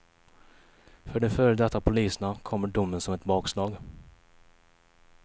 För de före detta poliserna kommer domen som ett bakslag.